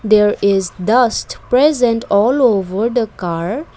there is dust present all over the car.